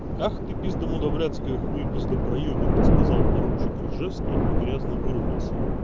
ах ты пиздамудаблядская хуйпиздопроебина сказал поручик ржевский и грязно выругался